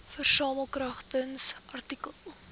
versamel kragtens artikel